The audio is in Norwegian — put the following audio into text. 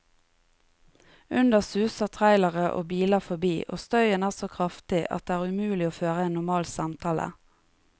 Under suser trailere og biler forbi, og støyen er så kraftig at det er umulig å føre en normal samtale.